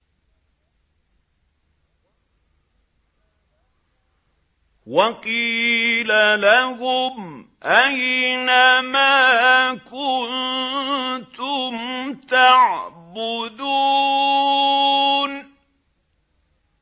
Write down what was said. وَقِيلَ لَهُمْ أَيْنَ مَا كُنتُمْ تَعْبُدُونَ